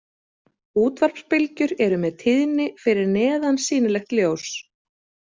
Útvarpsbylgjur eru með tíðni fyrir neðan sýnilegt ljós.